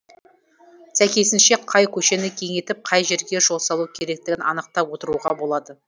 сәйкесінше қай көшені кеңейтіп қай жерге жол салу керектігін анықтап отыруға болады